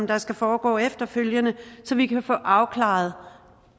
der skal foregå efterfølgende så vi kan få afklaret